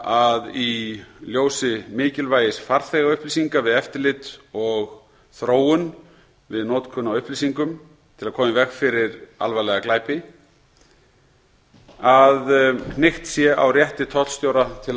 að í ljósi mikilvægis farþegaupplýsinga við eftirlit og þróun við notkun á upplýsingum til að koma í veg fyrir alvarlega glæpi sé hnykkt á rétti tollstjóra til